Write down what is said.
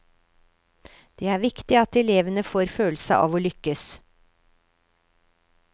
Det er viktig at elevene får følelse av å lykkes.